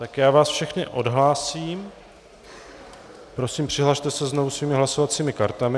Tak já vás všechny odhlásím, prosím přihlaste se znovu svými hlasovacími kartami.